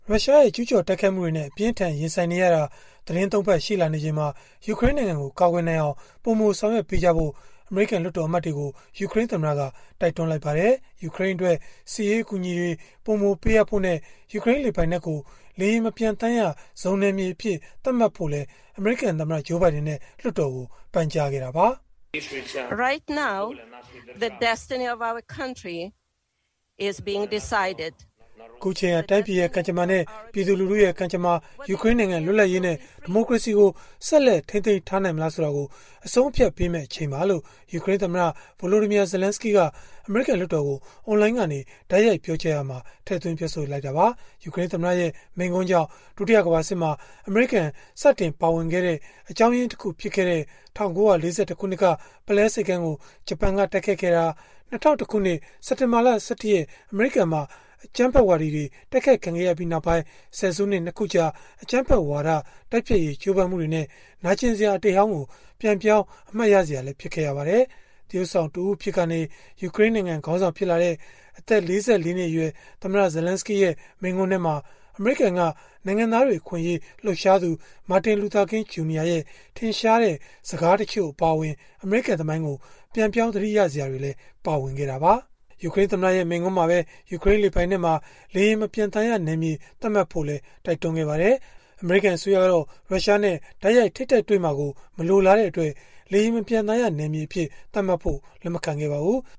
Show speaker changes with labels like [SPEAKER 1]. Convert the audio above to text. [SPEAKER 1] ရုရှားရဲ့ ကျုးကျော်တိုက်ခိုက်မှုတွေနဲ့ အပြင်းအထန် ရင်ဆိုင်နေရတာ သီတင်း ၃ ပတ် ရှိလာနေချိန်မှာ ယူကရိန်းနိုင်ငံကို ကာကွယ်နိုင်အောင် ပိုမိုဆောင်ရွက်ပေးကြဖို့ အမေရိကန် လွှတ်တော်အမတ်တွေကို ယူကရိန်းသမ္မတက တိုက်တွန်းလိုက်ပါတယ်။ ယူကရိန်းအတွက် စစ်ရေးအကူအညီတွေ ပိုမိုပေးအပ်ဖို့နဲ့ ယူကရိန်းလေပိုင်နက်ကို လေယာဉ်မပျံသန်းရဇုန်နယ်မြေအဖြစ် သတ်မှတ်ဖို့လည်း အမေရိကန်သမ္မတ Joe Biden နဲ့ လွှတ်တော်ကို ပန်ကြားခဲ့တာပါ။ “အခုအချိန်ဟာ တိုင်းပြည်ရဲ့ ကံကြမ္မာ၊ ပြည်သူလူထုရဲ့ ကံကြမ္မာ၊ ယူကရိန်းနိုင်ငံ လွတ်လပ်ရေးနဲ့ ဒီမိုကရေစီကို ဆက်လက် ထိန်းသိမ်းထားနိုင်မလားဆိုတာကို အဆုံးအဖြတ်ပေးမယ့် အချိန်ပါ။” လို့ ယူကရိန်းသမ္မတ Volodymyr Zelenskyy က အမေရိကန် လွှတ်တော်ကို အွန်လိုင်းကနေ တိုက်ရိုက်ပြောကြားရာမှာ ထည့်သွင်းပြောဆိုခဲ့တာပါ။ ယူကရိန်းသမ္မတရဲ့ မိန့်ခွန်းကြောင့် ဒုတိယကမ္ဘာစစ်မှာ အမေရိကန် စတင်ပါဝင်ခဲ့တဲ့ အကြောင်းရင်းတခု ဖြစ်ခဲ့တဲ့ ၁၉၄၁ ခုနှစ်က ပုလဲဆိပ်ကမ်းကို ဂျပန်က တိုက်ခိုက်ခဲ့တာ၊ ၂၀၀၁ ခုနှစ် စက်တင်ဘာ ၁၁ အမေရိကန်မှာ အကြမ်းဖက်ဝါဒီတွေ တိုက်ခိုက်ခံခဲ့ရပြီးနောက်ပိုင်း ဆယ်စုနှစ် ၂ ခုကြာ အကြမ်းဖက်ဝါဒ တိုက်ဖျက်ရေး ကြိုးပမ်းမှုတွေရဲ့ နာကျင်စရာ အတိတ်ဟောင်းကို ပြန်ပြောင်း အမှတ်ရစရာ ဖြစ်ခဲ့ရပါတယ်။ သရုပ်ဆောင်တဦးအဖြစ်ကနေ ယူကရိန်းနိုင်ငံ ခေါင်းဆောင် ဖြစ်လာတဲ့ အသက် ၄၄ နှစ်အရွယ် သမ္မတ Zelenskyy ရဲ့ မိန့်ခွန်းထဲမှာ အမေရိကန်က နိုင်ငံသားတွေ အခွင့်အရေး လှုပ်ရှားသူ Martin Luther King, Jr. ရဲ့ ထင်ရှားတဲ့ စကားတချို့ အပါအဝင် အမေရိကန်သမိုင်းကို ပြန်ပြောင်းသတိရစရာတွေလည်း ပါဝင်ခဲ့တာပါ။ ယူကရိန်းသမ္မတရဲ့ မိန့်ခွန်းမှာပဲ ယူကရိန်းလေပိုင်နက်မှာ လေယာဉ်မပျံသန်းရနယ်မြေ သတ်မှတ်ဖို့လည်း တိုက်တွန်းခဲ့ပါတယ်။ အမေရိကန် အစိုးရကတော့ ရုရှားနဲ့ တိုက်ရိုက်ထိပ်တိုက်တွေ့မှာကို မလိုလားတဲ့အတွက် လေယာဉ်မပျံသန်းရနယ်မြေအဖြစ် သတ်မှတ်ဖို့ လက်မခံပါဘူး။